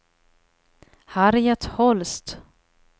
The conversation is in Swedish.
Harriet Holst